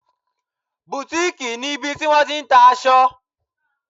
Boutique' ni ibi tí wọ́n ti n ta aṣọ